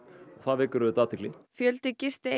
það vekur auðvitað athygli fjöldi